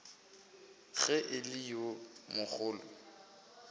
ge e le yo mogolo